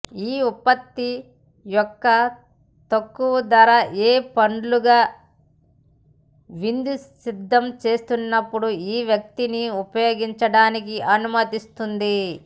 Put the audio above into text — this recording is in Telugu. ఈ ఉత్పత్తి యొక్క తక్కువ ధర ఏ పండుగ విందు సిద్ధం చేసినప్పుడు ఈ వ్యక్తిని ఉపయోగించడానికి అనుమతిస్తుంది